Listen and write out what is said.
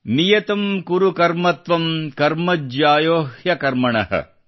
ನಿಯತಂ ಕುರು ಕರ್ಮ ತ್ವಂ ಕರ್ಮ ಜ್ಯಾಯೊಹ್ಯ ಕರ್ಮಣಃ